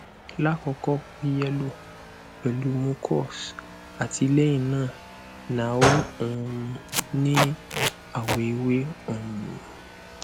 lakoko o yello pelu mucus ati lehina na o um ni awo ewe um